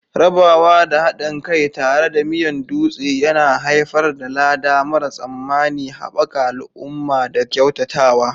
Rabawa da haɗin kai tare da Miyan Dutse yana haifar da lada mara tsammani, haɓaka al'umma da kyautatawa.